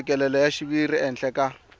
mfikelelo wa xiviri ehenhla ka